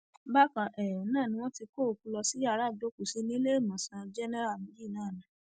bákan um náà ni wọn ti kó òkú lọ sí yàrá ìgbọọkúsí níléemọsán jẹnà yìí kan náà um